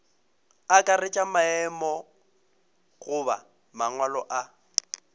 akaretša maemo goba mangwalo a